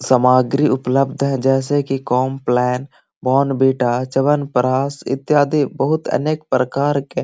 सामग्री उपलब्ध है जैसे कि कॉम्प्लान बॉर्नविटा चवनप्राश इत्यादि बहुत अनेक प्रकार के --